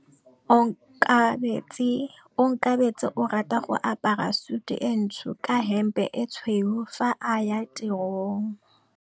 Onkabetse o rata go apara sutu e ntsho ka hempe e tshweu fa a ya tirong.